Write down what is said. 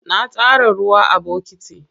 Na tara ruwa a bokiti.